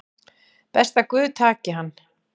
Best að guð taki hann